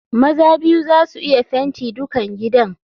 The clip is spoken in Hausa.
Maza biyu za su iya fenti dukan gidan.